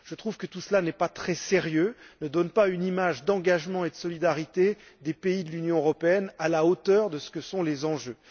Je trouve que tout cela n'est pas très sérieux, ne donne pas une image d'engagement et de solidarité des pays de l'Union européenne, à la hauteur de ce que sont les enjeux.